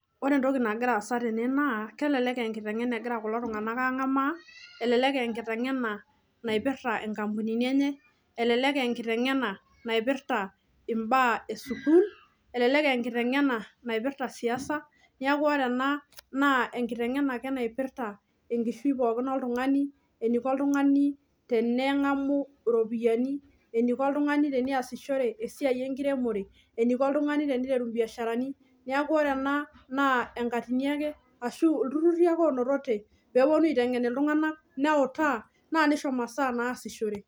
Ore entoki nagira aasa tene naa elelek aa enkitengena egira kulo tunganak angamaa, elelek aa enkitengena naipirta nkampunini enye, Ashu naipirta baa e sukuul aashu enkae toki ake. Elelek sii eniko oltungani teneee esiai enkiremore neeku elelek aaa ilturrurri ake oonototoe pee etum masaa naasishore